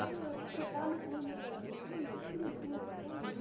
இந்த மாதிரி ஒரு இக்கட்டான சூழ்நிலை வரும்போது, நீ எப்படி முடிவு எடுப்பேன்னு,